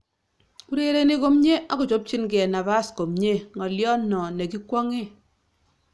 Urereni komye akochopchinigei nabas komyee-ng'alyo no ne gi kwong'ee